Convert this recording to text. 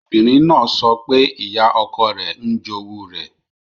Obìnrin náà sọ pé ìyá ọkọ rẹ̀ ń jowú rẹ̀.